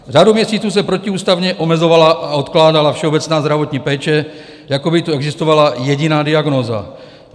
Řadu měsíců se protiústavně omezovala a odkládala všeobecná zdravotní péče, jako by tu existovala jediná diagnóza.